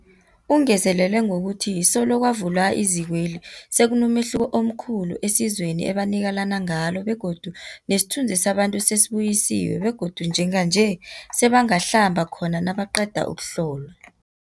Ungezelele ngokuthi solo kwavulwa izikweli, sekunomehluko omkhulu esizweni ebanikelana ngalo begodu nesithunzi sabantu sesibuyisiwe begodu njenganje sebangahlamba khona nabaqeda ukuhlolwa.